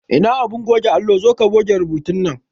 Ina abin goge allo, zoka goge rubutu nan